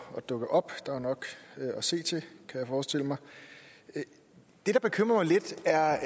dukke op der er nok at se til kan jeg forestille mig det der bekymrer mig lidt er